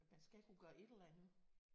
Man skal kunne gøre et eller andet